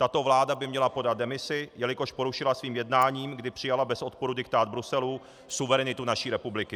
Tato vláda by měla podat demisi, jelikož porušila svým jednáním, kdy přijala bez odporu diktát Bruselu, suverenitu naší republiky.